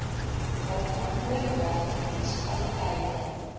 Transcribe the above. waarvan oordragte munisipaliteite